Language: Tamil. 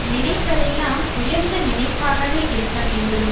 நினைப்பதெல்லாம் உயர்ந்த நினைப்பாகவே இருக்கவேண்டும்